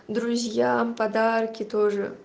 друзьям подарки тоже